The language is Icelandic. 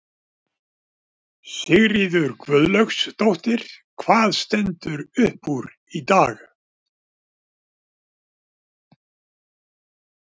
Sigríður Guðlaugsdóttir: Hvað stendur upp úr í dag?